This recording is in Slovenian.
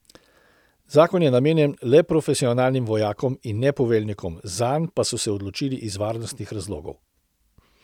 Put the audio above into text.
Zakon je namenjen le profesionalnim vojakom in ne poveljnikom, zanj pa so se odločili iz varnostnih razlogov.